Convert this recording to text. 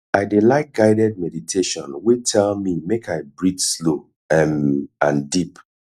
i dey like guided meditation wey tell me make i breathe slow um and deep